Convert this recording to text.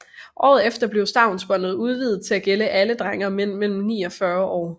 Året efter blev stavnsbåndet udvidet til at gælde alle drenge og mænd mellem ni og 40 år